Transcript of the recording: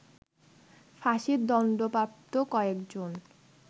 ফাঁসির দণ্ডপ্রাপ্ত কয়েকজন